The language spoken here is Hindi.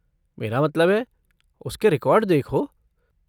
मेरा मतलब है, उसके रिकॉर्ड देखो।